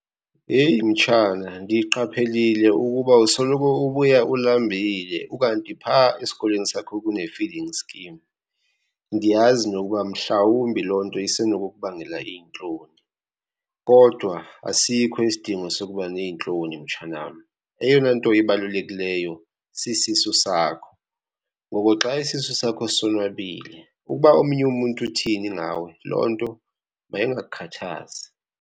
Yeyi mtshana, ndiqaphelile ukuba usoloko ubuya ulambile ukanti pha esikolweni sakho kune-feeding scheme. Ndiyazi nokuba mhlawumbi loo nto isenokubangela iintloni, kodwa asikho isidingo sokuba neentloni mtshana wam. Eyona nto ibalulekileyo sisisu sakho, ngoko xa isisu sakho sonwabile ukuba omnye umntu uthini ngawe loo nto mayingakukhathazi.